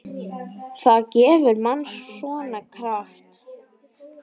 Það gefur manni svona. kraft.